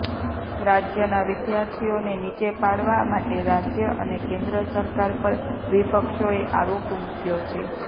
રાજ્યના વિદ્યાર્થીઓને નીચે પાડવા માટે રાજ્ય અને કેન્દ્ર સરકાર પર વિપક્ષોએ આરોપ મૂક્યો છે